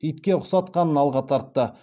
итке ұқсатқанын алға тартты